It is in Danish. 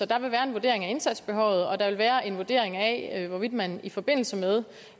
der vil være en vurdering af indsatsbehovet og der vil være en vurdering af hvorvidt man i forbindelse med